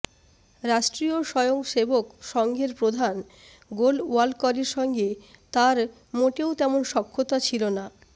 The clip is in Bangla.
রাষ্ট্রীয় স্বয়ং সেবক সঙ্ঘের প্রধান গোলওয়ালকরের সঙ্গে তাঁর মোটেও তেমন সখ্যতা ছিল না